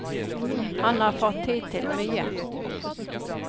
Han har fått tid til mye.